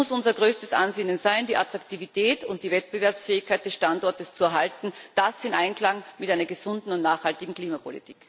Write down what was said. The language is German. Es muss unser größtes Ansinnen sein, die Attraktivität und die Wettbewerbsfähigkeit des Standortes zu erhalten, das in Einklang mit einer gesunden und nachhaltigen Klimapolitik.